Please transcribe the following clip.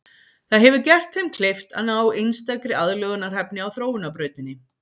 Það hefur gert þeim kleift að ná einstakri aðlögunarhæfni á þróunarbrautinni.